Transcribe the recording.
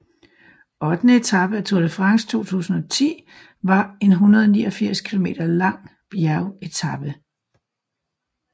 Ottende etape af Tour de France 2010 var en 189 km lang bjergetape